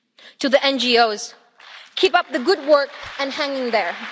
To the NGOs keep up the good work and hang in there.